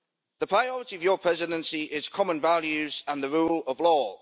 The priority of your Presidency is common values and the rule of law.